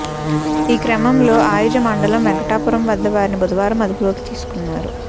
ఈ క్రమంలో అయిజ మండలం వెంకటాపురం వద్ద వారిని బుధవారం అదుపులోకి తీసుకున్నారు